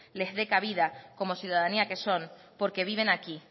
les dé cabida como ciudadanía que son porque viven aquí